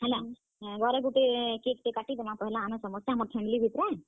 ହେଲା ଘରେ ଗୁଟେ ପହେଲା cake ଟେ କାଟିଦେମା। ଆମେ ସମସ୍ତେ ଆମର family ଭିତ୍ ରେ।